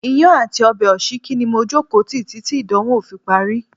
Iyán àti ọbẹ̀ òsíkí ni mo jókòó tí títí ìdánwò fi parí.